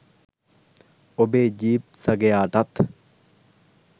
ඔබේ ජීප් සගයාටත්